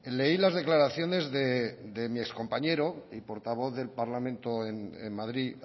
leí las declaraciones de mi ex compañero y portavoz del parlamento en madrid